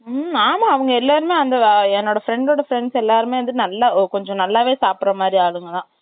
ம், ஆமா, அவங்க எல்லாருமே அந்த, என்னோட friend ஓட எல்லாருமே வந்து, நல்லா, கொஞ்சம் நல்லாவே, சாப்பிடற மாரி, ஆளுங்கதான்.